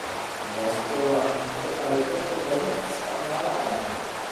Baasto waa cunto ay dadka badan isticmaalaan.